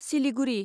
Siliguri